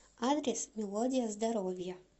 адрес мелодия здоровья